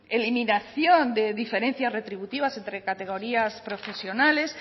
eliminación de diferencias retributivas entre categorías profesionales